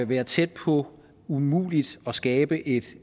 være tæt på umuligt at skabe et